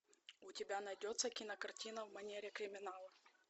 у тебя найдется кинокартина в манере криминала